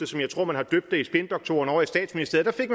som jeg tror man har døbt det hos spindoktorerne ovre i statsministeriet